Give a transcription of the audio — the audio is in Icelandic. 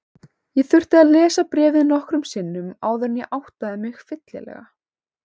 Ég þurfti að lesa bréfið nokkrum sinnum áður en ég áttaði mig fyllilega.